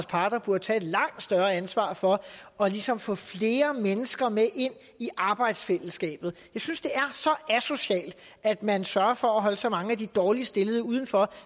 parter burde tage et langt større ansvar for for ligesom at få flere mennesker med ind i arbejdsfællesskabet jeg synes det er så asocialt at man sørger for at holde så mange af de dårligst stillede udenfor